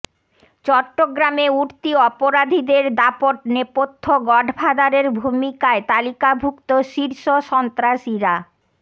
চট্টগ্রামে উঠতি অপরাধীদের দাপট নেপথ্য গডফাদারের ভুমিকায় তালিকাভুক্ত শীর্ষ সন্ত্রাসীরা